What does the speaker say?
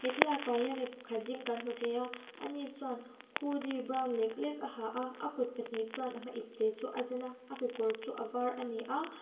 he thlalak ah hian mi pakhat ding kan hmu thei a a ni chuan hoodie brown lek lek a ha a a kut pahnih chuan ipte chu a zen a a kekawr chu a var a ni a.